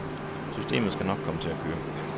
Systemet skal nok komme til at køre.